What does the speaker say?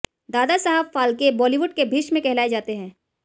दादा साहेब फालके बॉलीवुड के भीष्म कहलाए जाते है